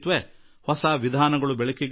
ಹೊಸ ವಿಧಾನ ತಿಳಿಯಬರುತ್ತದೆ